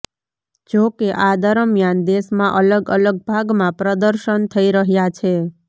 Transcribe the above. જો કે આ દરમિયાન દેશમાં અલગ અલગ ભાગમાં પ્રદર્શન થઈ રહ્યા છે